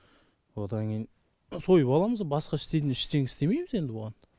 одан кейін сойып аламыз басқа істейтін ештеңке істемейміз енді оған